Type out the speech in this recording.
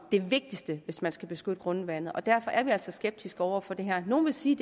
det vigtigste hvis man skal beskytte grundvandet og derfor er vi altså skeptiske over for det her nogle vil sige